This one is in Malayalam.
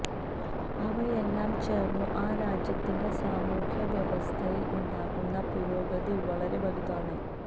അവയെല്ലാം ചേര്ന്നു ആ രാജ്യത്തിന്റെ സാമൂഹ്യ വ്യവസ്ഥയില് ഉണ്ടാക്കുന്ന പുരോഗതി വളരെ വലുതാണ്